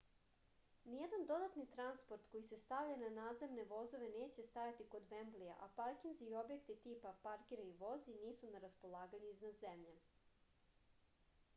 nijedan dodatni transport koji se stavlja na nadzemne vozove neće stajati kod vemblija a parkinzi i objekti tipa parkiraj i vozi nisu na raspolaganju iznad zemlje